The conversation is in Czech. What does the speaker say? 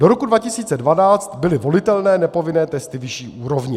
Do roku 2012 byly volitelné nepovinné testy vyšší úrovně.